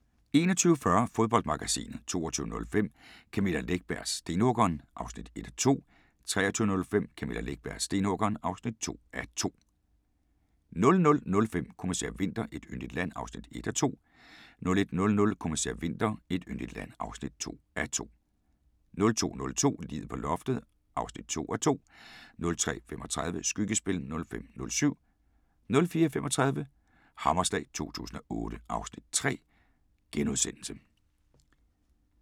21:40: Fodboldmagasinet 22:05: Camilla Läckbergs Stenhuggeren (1:2) 23:05: Camilla Läckbergs Stenhuggeren (2:2) 00:05: Kommissær Winter: Et yndigt land (1:2) 01:00: Kommissær Winter: Et yndigt land (2:2) 02:00: Liget på loftet (2:2) 03:35: Skyggespil (5:7) 04:35: Hammerslag 2008 (Afs. 3)*